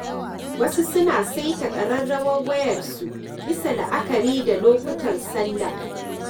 Wasu suna saita ƙararrawar wayarsu bisa la'akari da lokutan salla.